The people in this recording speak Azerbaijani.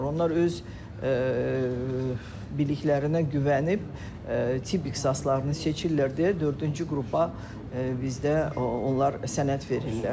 Onlar öz biliklərinə güvənib tibb ixtisaslarını seçirlər deyə dördüncü qrupa bizdə onlar sənəd verirlər.